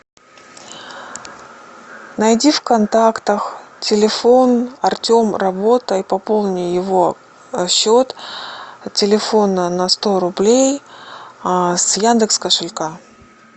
найди в контактах телефон артем работа и пополни его счет телефона на сто рублей с яндекс кошелька